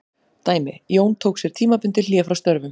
Dæmi: Jón tók sér tímabundið hlé frá störfum.